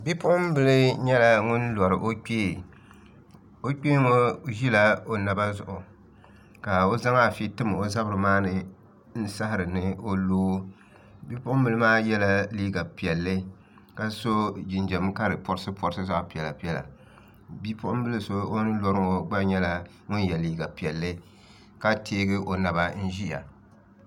Bipuɣunbili nyɛla ŋun lori o kpee o kpee ŋo ʒila o naba zuɣu ka o zaŋ afi tim o zabiri maa ni n saɣari ni o loo bipuɣunbili maa yɛla liiga piɛlli ka so jinjɛm ka di porisi porisi zaɣ piɛla piɛla bipuɣunbili so o ni lori ŋo gba nyɛla ŋun yɛ liiga piɛlli ka teegi o naba n ʒiya